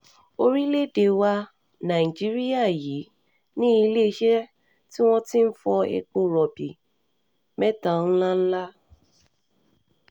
orílẹ̀-èdè wa nàìjíríà yìí ní iléeṣẹ́ tí wọ́n ti ń fọ epo rọ̀bì mẹ́ta ńlá ńlá